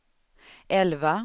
elva